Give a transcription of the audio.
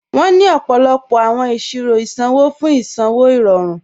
Wọn ni ọ̀pọ̀lọ̀pọ̀ awọn iṣirò isanwọ̀ fún isanwọ̀ irọ̀run.